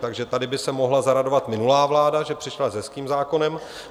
Takže tady by se mohla zaradovat minulá vláda, že přišla s hezkým zákonem.